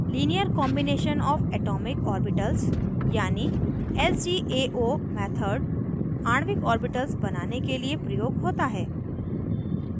linear combination of atomic orbitals यानि lcao method आणविक orbitals बनाने के लिए प्रयोग होता है